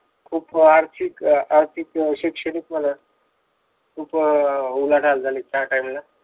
खूप आर्थिक आर्थिक शैक्षणिक म्हणा, अं खूप उलाढाल झाली. त्या time ला.